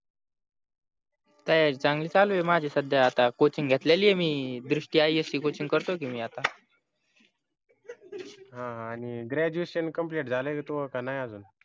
तयारी चांगली चालू आहे माझी सध्या आता coaching घेतलेली आहे मी दृष्टी ias ची coaching करतो की मी आता हा आणि graduation complete झालय का तुझं का नाहि अजून